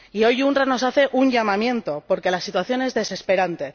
Y hoy la UNRWA nos hace un llamamiento porque la situación es desesperante.